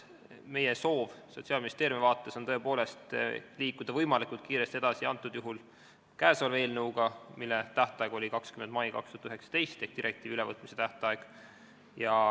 Meie soov Sotsiaalministeeriumis on tõepoolest liikuda võimalikult kiiresti edasi, antud juhul käesoleva eelnõuga, mille tähtaeg ehk direktiivi ülevõtmise tähtaeg oli 20. mail 2019.